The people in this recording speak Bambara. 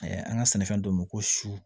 an ka sɛnɛfɛn dɔ ko su